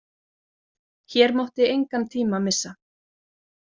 Hér mátti engan tíma missa.